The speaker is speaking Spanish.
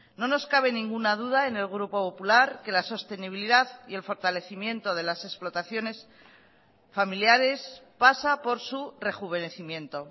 no nos cabe ninguna duda en el grupo popular que la sostenibilidad y el fortalecimiento de las explotaciones familiares pasa por su rejuvenecimiento